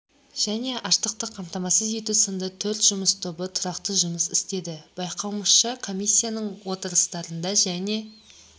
және ашықтықты қамтамасыз ету сынды төрт жұмыс тобы тұрақты жұмыс істеді байқауымызша комиссияның отырыстарында және